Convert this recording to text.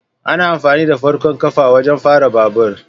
Ana amfani da farkon kafa wajen fara babur